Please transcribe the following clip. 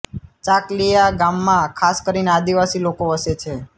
ચાકલીઆ ગામમાં ખાસ કરીને આદિવાસી લોકો વસે છે